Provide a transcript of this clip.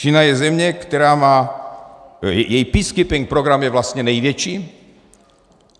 Čína je země, která má... její peacekeeping program je vlastně největší.